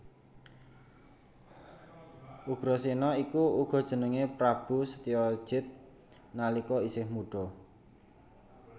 Ugrasena iku uga jenengé Prabu Setyajid nalika isih mudha